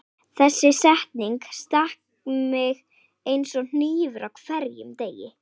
Þessi setning stakk mig eins og hnífur á hverjum degi.